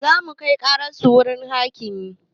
Zamu kai ƙarar su wurin hakimi